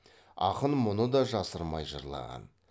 ақын мұны да жасырмай жырлаған